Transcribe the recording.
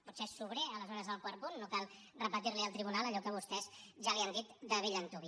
potser és sobrer aleshores el quart punt no cal repetir li al tribunal allò que vostès ja li han dit de bell antuvi